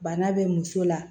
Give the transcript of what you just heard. Bana be muso la